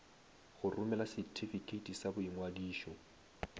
go romela setifikeiti sa boingwadišo